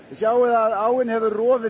sjáið að áin hefur rofið